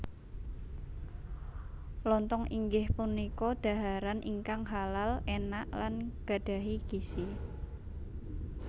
Lontong inggih punika dhaharan ingkang halal enak lan gadhahi gizi